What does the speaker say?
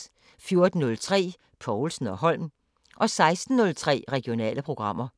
14:03: Povlsen & Holm 16:03: Regionale programmer